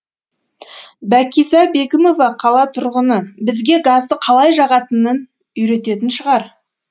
бәкиза бегімова қала тұрғыны бізге газды қалай жағатынын үйрететін шығар